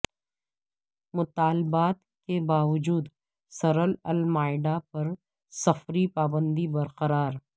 مطالبات کے باوجود سرل المائڈا پر سفری پابندی برقرار